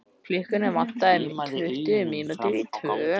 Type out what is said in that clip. Klukkuna vantaði tuttugu mínútur í tvö.